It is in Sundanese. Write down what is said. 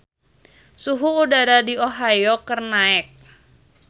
Suhu udara di Ohio keur naek